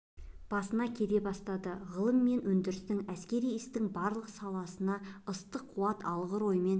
басына келе бастады ғылым мен өндірістің әскери істің барлық саласына ыстық қуат алғыр оймен